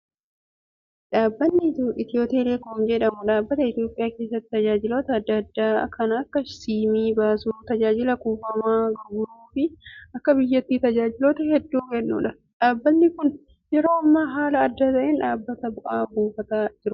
Dhaabbanni Itiyootelekoom jedhamu dhaabbata Itoophiyaa keessatti tajaajiloota adda addaa kan akka siimii baasuu, tajaaajila kuufamaa gurguruu fi akka biyyaatti tajaajiloota hedduu kennudha. Dhaabbatni kunis yeroo ammaa haala adda ta'een dhaabbata bu'aa buufataa jirudha.